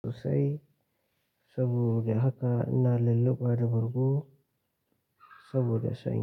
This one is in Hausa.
Saboda haka ina lillaɓa bargo saboda sanyi.